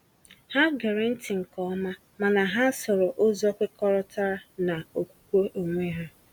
Ha gere ntị nke ọma, mana ha sooro ụzọ kwekọrọtara na okwukwe onwe ha.